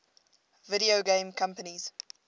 video game companies